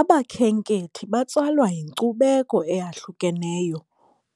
Abakhenkethi batsalwa yinkcubeko eyahlukeneyo,